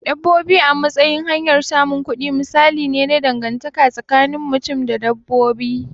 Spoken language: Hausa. Dabbobi a matsayin hanyar samun kudi misali ne na dangantaka tsakinin mutum da dabbobi.